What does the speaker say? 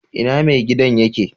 Ina mai gidan yake?